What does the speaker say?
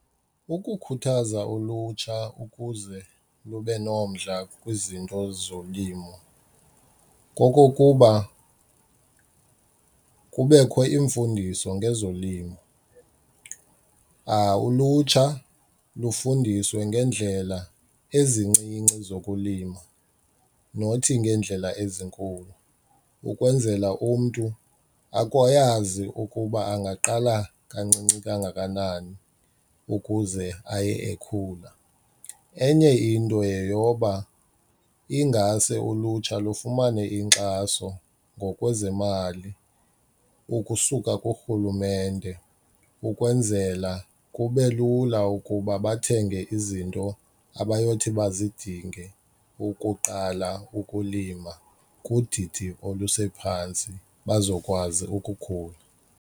Ukukhuthaza ulutsha ukuze lube nomdla kwizinto zolimo kokokuba kubekho iimfundiso ngezolimo. Ulutsha lufundiswe ngeendlela ezincinci zokulima nothi ngeendlela ezinkulu ukwenzela umntu ayazi ukuba angaqala kancinci kangakanani ukuze aye ekhula. Enye into yeyoba ingase ulutsha lufumane inkxaso ngokwezemali ukusuka kurhulumente ukwenzela kube lula ukuba bathenge izinto abayothi bazidinge ukuqala ukulima kudidi olusephantsi bazokwazi ukukhula.